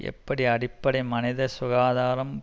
எப்படி அடிப்படை மனித சுகாதாரம்